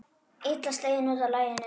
Illa sleginn út af laginu.